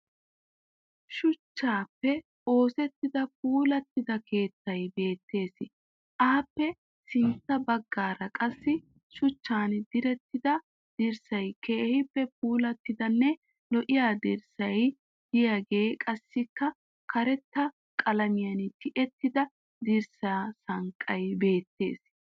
Shuchchaappe oosettida puulattida keettay beettes. Aappe sintta baggaara qassi shuchchan direttida dirssay keehippe puulattidanne lo"iya dirssay diyagee qassikka karetta qalamiyan tiyettida dirssaa sanqqay beettes.